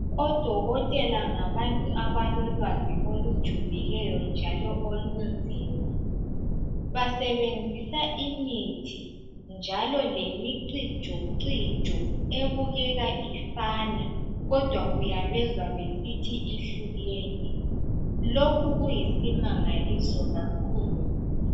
Odokotela ngabantu abalolwazi olujulileyo njalo olunzima. Basebenzisa imithi njalo lemicijocijo ebukeka ifana kodwa uyabezwa besithi ihlukene. Lokhu kuyisimangaliso kakhulu